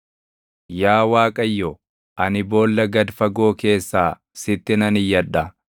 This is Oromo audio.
Yaa Waaqayyo, ani boolla gad fagoo keessaa // sitti nan iyyadha;